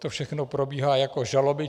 To všechno probíhá jako žaloby.